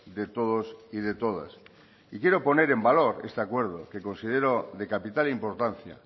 de todos y de todas y quiero poner en valor este acuerdo que considero de capital importancia